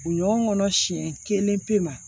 Ɲɔgɔn kɔnɔ siɲɛ kelen pe ma